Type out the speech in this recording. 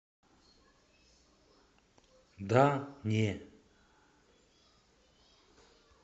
да не